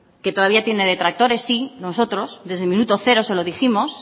que todavía tiene detractores sí nosotros desde el minuto cero se lo dijimos